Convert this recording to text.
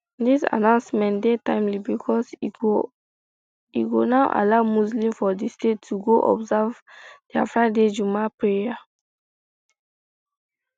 dis announcement dey timely becos e go now allow muslims for di state to go observe dia friday jumat prayer